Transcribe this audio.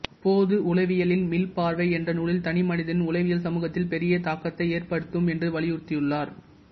பொது உளவியலின் மீள்பார்வை என்ற நூலில் தனி மனிதனின் உளவியல் சமூகத்தில் பெரிய தாக்கத்தை ஏற்படுத்தும் என்று வலியுறுத்தியுள்ளார்